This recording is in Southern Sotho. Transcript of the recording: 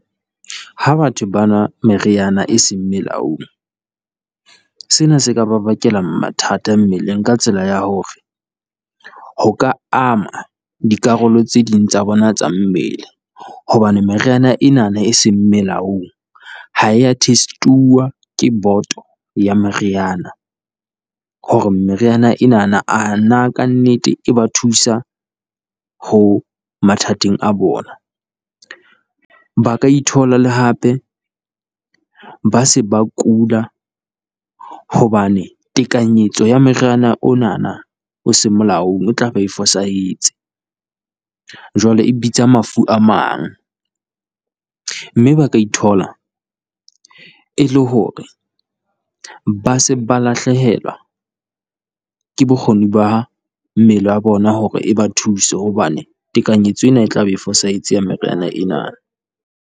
Ha batho ba nwa meriana e seng molaong, sena se ka ba bakela mathata mmeleng ka tsela ya hore ho ka ama dikarolo tse ding tsa bona tsa mmele. Hobane meriana enana e seng melaong ha ya test-uwa ke boto ya meriana, hore meriana enana a na ka nnete e ba thusa ho mathateng a bona. Ba ka ithola le hape ba se ba kula hobane tekanyetso ya moriana onana o seng molaong o tla be e fosahetse, jwale e bitsa mafu a mang. Mme ba ka ithola e le hore ba se ba lahlehelwa ke bokgoni ba mmele wa bona hore e ba thuse, hobane tekanyetso ena e tla be e fosahetse ya meriana ena.